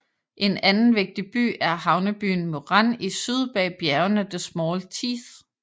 En anden vigtig by er havnebyen Murann i syd bag bjergene The Small Teeth